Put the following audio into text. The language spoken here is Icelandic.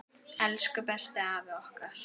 Elsku besti afi okkar.